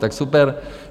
Tak super.